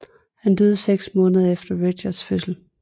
Han døde seks måneder efter Richards fødsel